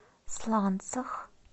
сланцах